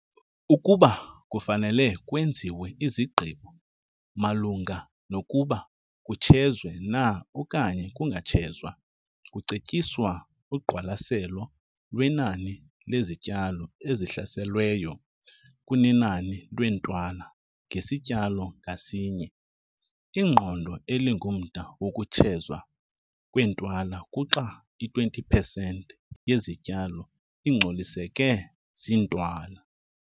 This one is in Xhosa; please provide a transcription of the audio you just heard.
Ukuba kufanele kwenziwe izigqibo malunga nokuba kutshezwe na okanye kungatshezwa, kucetyiswa uqwalaselo lwenani lezityalo ezihlaselweyo kunenani leentwala ngesityalo ngasinye. Iqondo elingumda wokutshezwa kweentwala kuxa i-20 pesenti yezityalo ingcoliseke ziintwala.